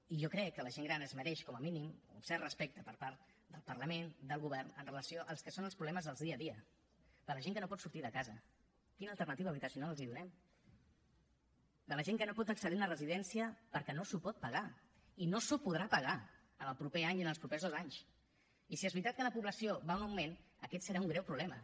i jo crec que la gent gran es mereix com a mínim un cert respecte per part del parlament del govern amb relació al que són els problemes del dia a dia de la gent que no pot sortir de casa quina alternativa habitacional els donem de la gent que no pot accedir a una residència perquè no s’ho pot pagar i no s’ho podrà pagar en el proper any ni en els propers dos anys i si és veritat que la població va en augment aquest serà un greu problema